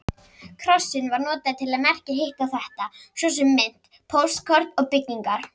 Krossinn var notaður til merkja hitt og þetta, svo sem mynt, póstkort og byggingar.